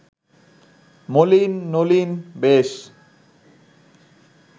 মলিন নলিন বেশ